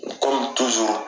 kɔmi tuzuru